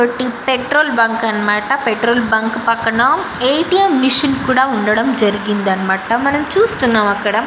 Petrol bunk అన్నమాట. Petrol bunk పక్కన A-- T-- M machine కూడా ఉండడం జరిగిందన్నమాట. మనం చూస్తున్నాం అక్కడ.